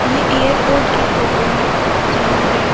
ये एयरपोर्ट की फोटो है जहां पे--